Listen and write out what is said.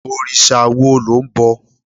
òrìṣà wo lo nbọ